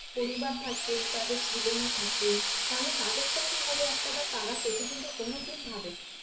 পরিবার থাকে তাদের ছেলে মেয়ে থাকে তাহলে তাদের টা কি হবে একটাবার তারা কিন্তু কোনো দিন ভাবে না